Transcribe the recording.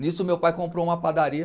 Nisso meu pai comprou uma padaria.